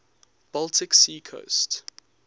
baltic sea coast